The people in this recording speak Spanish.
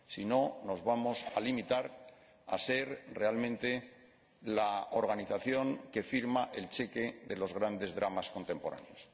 Si no, nos vamos a limitar a ser realmente la organización que firma el cheque de los grandes dramas contemporáneos.